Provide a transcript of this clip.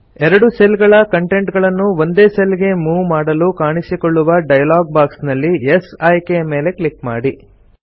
ಎರಡು ಸೆಲ್ ಗಳ ಕಂಟೆಂಟ್ ಗಳನ್ನು ಒಂದೇ ಸೆಲ್ ಗೆ ಮೂವ್ ಮಾಡಲು ಕಾಣಿಸಿಕೊಳ್ಳುವ ಡೈಲಾಗ್ ಬಾಕ್ಸ್ ನಲ್ಲಿ ಯೆಸ್ ಆಯ್ಕೆಯ ಮೇಲೆ ಕ್ಲಿಕ್ ಮಾಡಿ